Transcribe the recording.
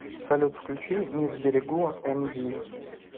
салют включи не сберегу эмди